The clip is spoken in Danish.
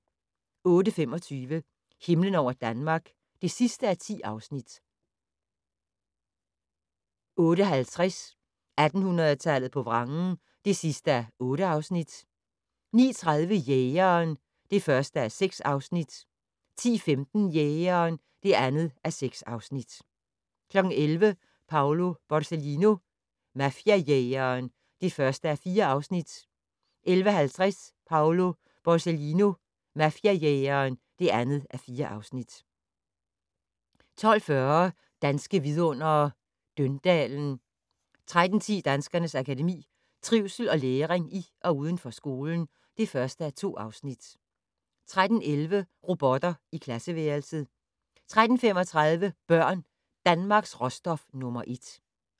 08:25: Himlen over Danmark (10:10) 08:50: 1800-tallet på vrangen (8:8) 09:30: Jægeren (1:6) 10:15: Jægeren (2:6) 11:00: Paolo Borsellino - mafiajægeren (1:4) 11:50: Paolo Borsellino - mafiajægeren (2:4) 12:40: Danske Vidundere: Døndalen 13:10: Danskernes Akademi: Trivsel og læring i og uden for skolen (1:2) 13:11: Robotter i klasseværelset 13:35: Børn - Danmarks råstof nr. 1